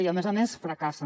i a més a més fracassen